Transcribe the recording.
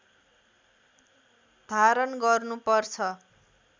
धारण गर्नुपर्छ